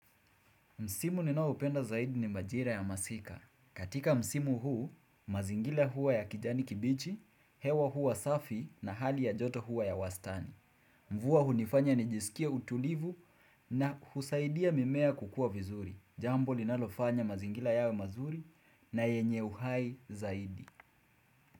Msimu ninaopenda zaidi ni majira ya masika. Katika Msimu huu, mazingira huwa ya kijani kibichi, hewa huwa safi na hali ya joto huwa ya wastani. Mvua hunifanya nijisikie utulivu na husaidia mimea kukua vizuri. Jambo linalofanya mazingira yawe mazuri na yenye uhai zaidi.